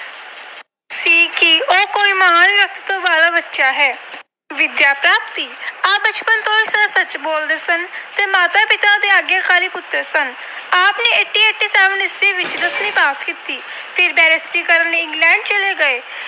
ਵਾਲਾ ਬੱਚਾ ਹੈ। ਵਿਦਿਆ ਪ੍ਰਾਪਤੀ - ਆਪ ਬਚਪਨ ਤੋਂ ਸਦਾ ਸੱਚ ਬੋਲਦੇ ਸਨ ਤੇ ਮਾਤਾ-ਪਿਤਾ ਦੇ ਆਗਿਆਕਾਰੀ ਪੁੱਤਰ ਸਨ। ਆਪ ਨੇ ਅਠਾਰਾਂ ਸੌ ਸਤਾਸੀ ਈਸਵੀ ਵਿੱਚ ਦਸਵੀਂ ਪਾਸ ਕੀਤੀ ਅਤੇ ਫਿਰ Barrister ਕਰਨ ਲਈ England ਚਲੇ ਗਏ।